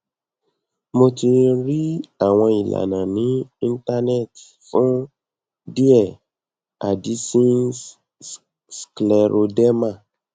mo ti rí àwọn ìlànà ní internet fún díẹ addisons scleroderma